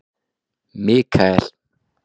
Mikael